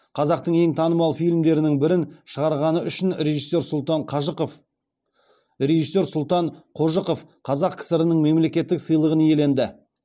қазақтың ең танымал фильмдерінің бірін шығарғаны үшін режиссер сұлтан қожықов қазақ кср нің мемлекеттік сыйлығын иеленді